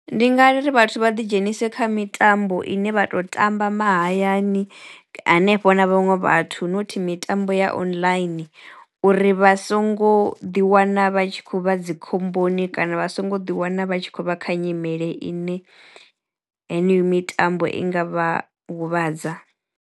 Ndi nga ri vhathu vha ḓi dzhenise kha mitambo ine vha to tamba mahayani hanefho na vhaṅwe vhathu not mitambo ya online uri vha songo ḓiwana vha tshi khou vha dzi khomboni kana vha songo ḓi wana vha tshi khou vha kha nyimele ine heneyo mitambo i nga vha huvhadza.